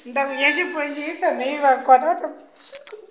ntanghu ya xiponci yi tshame yiva kona